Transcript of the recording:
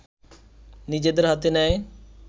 নিজেদের হাতে নেয়